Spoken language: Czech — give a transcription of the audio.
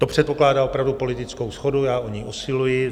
To předpokládá opravdu politickou shodu, já o ni usiluji.